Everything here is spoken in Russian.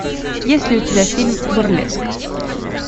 есть ли у тебя фильм бурлеск